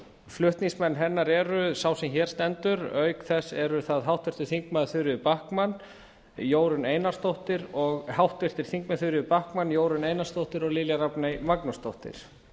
flutningsmenn hennar eru sá sem hér stendur auk þess eru það háttvirtir þingmenn þuríður backman jórunn einarsdóttir og lilja rafney magnúsdóttir